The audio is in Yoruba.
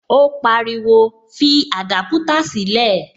Ó pariwo, fi adaputa sílè